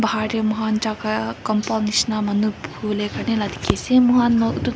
bahar tae mokhan jaka compound nishina manu buhiwolae karne la dikhiase mohan.